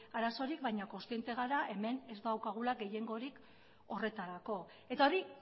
arazorik baina kontziente gara hemen ez daukagula gehiengorik horretarako eta hori